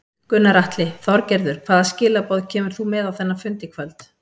Gunnar Atli: Þorgerður hvaða skilaboð kemur þú með á þennan fund í kvöld?